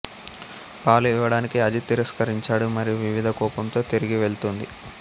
పాలు ఇవ్వడానికి అజిత్ తిరస్కరించాడు మరియు వివిధ కోపంతో తిరిగి వెళ్తుంది